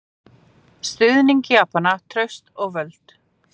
Stuðning Japana, traust og völd.